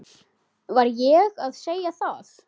Var ég að segja það?